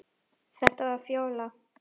Þetta var Fjóla.